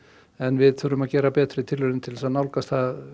en við þurfum að gera betri tilraunir til þess að nálgast það